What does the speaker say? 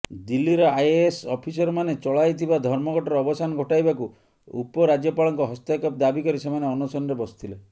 ଦିଲ୍ଲୀର ଆଇଏଏସ୍ ଅଫିସରମାନେ ଚଳାଇଥିବା ଧର୍ମଘଟର ଅବସାନ ଘଟାଇବାକୁ ଉପରାଜ୍ୟପାଳଙ୍କ ହସ୍ତକ୍ଷେପ ଦାବି କରି ସେମାନେ ଅନଶନରେ ବସିଥିଲେ